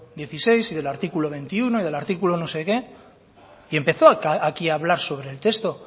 dieciséis y del artículo veintiuno y del artículo no sé qué y empezó aquí a hablar sobre el texto